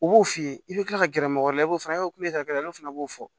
U b'o f'i ye i bɛ kila ka gɛrɛ mɔgɔ wɛrɛ la i b'o fana olu fana b'o fɔ